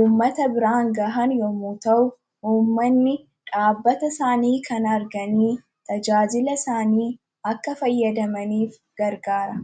uummata biraan gahan yommuu ta'u, uummatni dhaabbata isaanii kana arganii tajaajila isaanii akka fayyadamaniif garagaara.